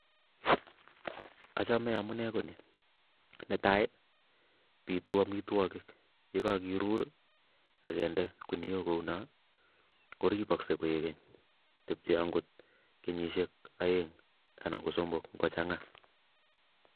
Achome amune ko ni, ne tai bitu amitwokik ye kakeruur akende kuniok kouno koripoksei koekeny, tepchei angot kenyisiek aeng anan ko somok ngochanga.